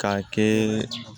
K'a kɛ